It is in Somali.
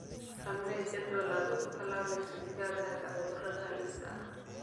Samee jadwal aad uga tallaalayso digaagga cudurrada halista ah.